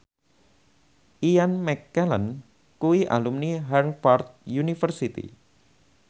Ian McKellen kuwi alumni Harvard university